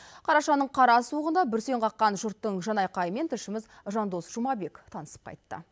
қарашаның қара суығында бүрсен қаққан жұрттың жан айқайымен тілшіміз жандос жұмабек танысып қайтты